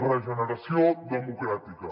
regeneració democràtica